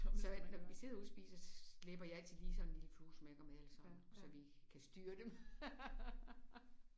Så når vi sidder ude og spiser så slæber jeg altid lige sådan en lille fluesmækker med eller sådan så vi kan styre dem